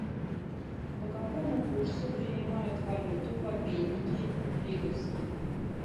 по какому курсу принимают валюту в обменнике лиговский